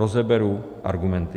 Rozeberu argumenty.